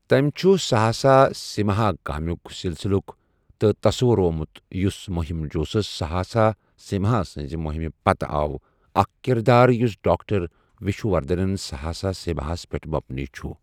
تٔمۍ چُھ سَہاسَہ سِمہا کامِک سِلسِلُک تہِ تَصَوُروومُت یوٚس مُہِم جوسوٗس سَہاسَہ سِمہا سنزِ مُہِمہِ پتہٕ آو ، اَکھ کِردار یُس ڈاكٹَر وِشنووَردھن سَہاسَہ سِمہاس پٮ۪ٹھ مُبنی چُھ ۔